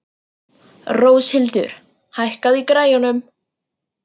Róshildur, hækkaðu í græjunum.